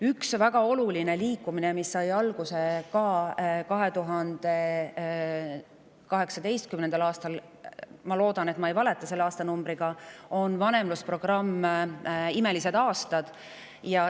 Üks väga oluline liikumine, mis sai alguse 2018. aastal – ma loodan, et ma ei valeta selle aastanumbriga –, on vanemlusprogramm "Imelised aastad".